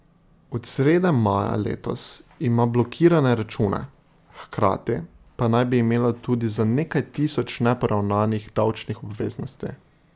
Od srede maja letos ima blokirane račune, hkrati pa naj bi imelo tudi za nekaj tisoč neporavnanih davčnih obveznosti.